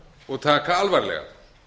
og taka alvarlega